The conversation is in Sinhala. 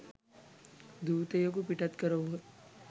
දූතයෙකු පිටත් කරවූහ